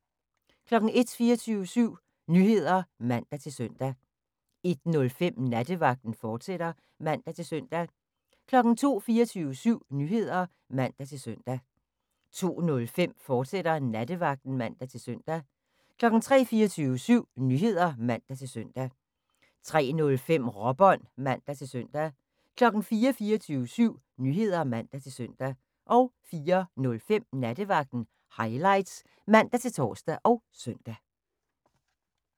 01:00: 24syv Nyheder (man-søn) 01:05: Nattevagten, fortsat (man-søn) 02:00: 24syv Nyheder (man-søn) 02:05: Nattevagten, fortsat (man-søn) 03:00: 24syv Nyheder (man-søn) 03:05: Råbånd (man-søn) 04:00: 24syv Nyheder (man-søn) 04:05: Nattevagten Highlights (man-tor og søn)